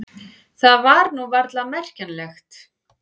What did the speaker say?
Það var nú varla merkjanlegt.